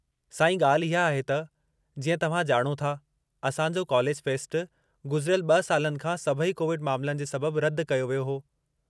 साईं, ॻाल्हि इहा आहे त, जीअं तव्हां ॼाणो था, असां जो कॉलेज फ़ेस्टु गुज़िरयिलु 2 सालनि खां सभई कोविड मामलनि जे सबबु रद्दि कयो वियो हो।